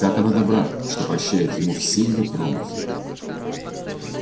как она добра что прощает ему все его промахи